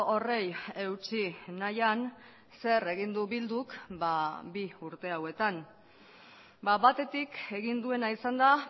horri eutsi nahian zer egin du bilduk bi urte hauetan batetik egin duena izan da